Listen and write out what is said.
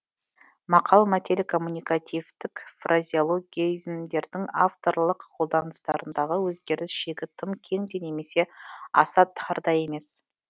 мақал мәтел коммуникативтік фразеологизмдердің авторлық қолданыстарындағы өзгеріс шегі тым кең де немесе аса тар да емес